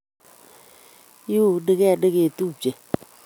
Iunige negetupche